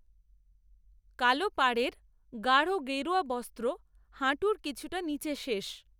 কালো পাড়ের গাঢ়, গেরুয়া বস্ত্র হাঁটুর কিছুটা নীচে, শেষ